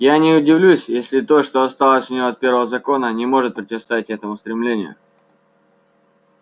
я не удивлюсь если то что осталось у него от первого закона не сможет противостоять этому стремлению